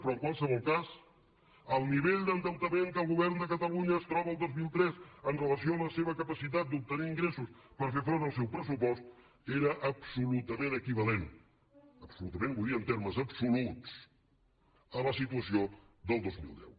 però en qualsevol cas el nivell d’endeutament que el govern de catalunya es troba el dos mil tres amb relació a la seva capacitat d’obtenir ingressos per fer front al seu pressupost era absolutament equivalent absolutament vull dir en termes absoluts a la situació del dos mil deu